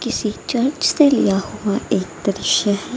किसी चर्च से लिया हुआ एक दृश्य है।